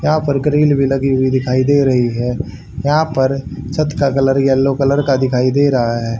यहां पर ग्रिल भी लगी हुई दिखाई दे रही है यहां पर छत का कलर येलो कलर का दिखाई दे रहा है।